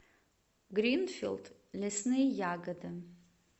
гринфилд лесные ягоды